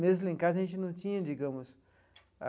Mesmo em casa, a gente não tinha, digamos.